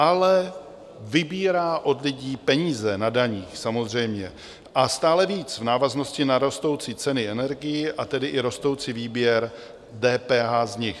Ale vybírá od lidí peníze na daních samozřejmě a stále víc v návaznosti na rostoucí ceny energií, a tedy i rostoucí výběr DPH z nich.